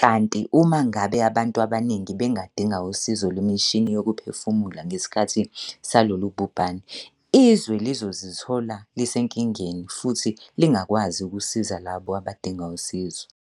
kanti uma ngabe abantu abaningi bengadinga usizo lwemishini yokuphefumula ngesikhathi salolu bhubhane, izwe lizozithola lisenkingeni futhi lingakwazi ukusiza labo abadinga usizo.